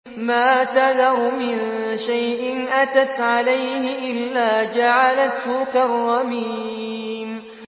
مَا تَذَرُ مِن شَيْءٍ أَتَتْ عَلَيْهِ إِلَّا جَعَلَتْهُ كَالرَّمِيمِ